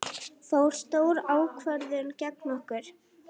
Fór stór ákvörðun gegn okkur?